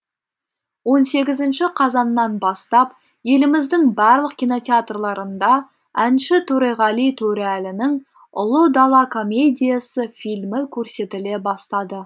он сегізінші қазаннан бастап еліміздің барлық кинотеатрларында әнші төреғали төреәлінің ұлы дала комедиясы фильмі көрсетіле бастады